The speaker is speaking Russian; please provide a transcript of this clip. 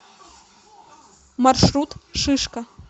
маршрут шишка